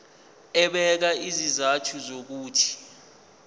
ebeka izizathu zokuthi